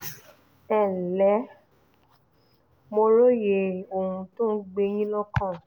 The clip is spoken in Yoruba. ẹ ǹlẹ́ o mo róye ohun tó ń gbé yín lọ́kàn